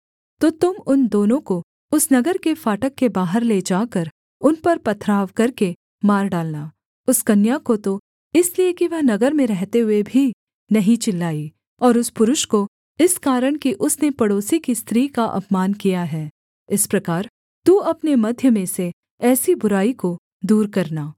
तो तुम उन दोनों को उस नगर के फाटक के बाहर ले जाकर उन पर पथराव करके मार डालना उस कन्या को तो इसलिए कि वह नगर में रहते हुए भी नहीं चिल्लाई और उस पुरुष को इस कारण कि उसने पड़ोसी की स्त्री का अपमान किया है इस प्रकार तू अपने मध्य में से ऐसी बुराई को दूर करना